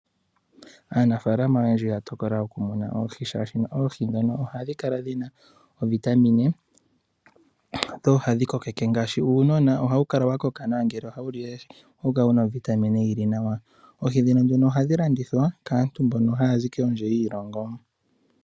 Aanafalama oyendji oya tokola okumuna oohi shaashino ohadhi kala dhi na ovitamine dho ohadhi kokeke nawa ngaashi uunona ohawu kala wu na ovitamine yi li nawa ngele oha wu li oohi. Ohadhi landithwa kaantu mbono haya zi kondje yiilongo.